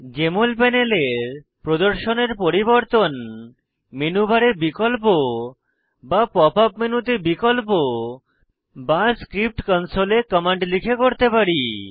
JML প্যানেলের প্রদর্শনের পরিবর্তন মেনু বারে বিকল্প বা পপ আপ মেনুতে বিকল্প বা স্ক্রিপ্ট কনসোলে কমান্ড লিখে করতে পারি